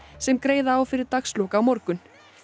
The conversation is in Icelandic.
sem greiða á fyrir dagslok á morgun